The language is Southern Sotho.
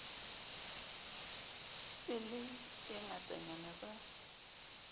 be le e ngatanyana ba